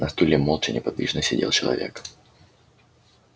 на стуле молча неподвижно сидел человек